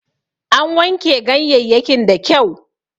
An wanke ganyeyyakin da kyau